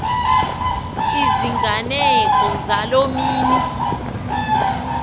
iziganeko zaloo mini